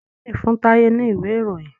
Kenny fún Taye ní Ìwé-ìròyìn.